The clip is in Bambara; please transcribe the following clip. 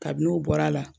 Kabini n'o bɔra a la